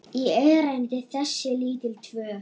í erindi þessi lítil tvö.